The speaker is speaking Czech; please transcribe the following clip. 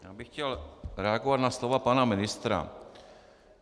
Já bych chtěl reagovat na slova pana ministra.